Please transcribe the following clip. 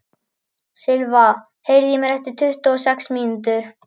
Silva, heyrðu í mér eftir tuttugu og sex mínútur.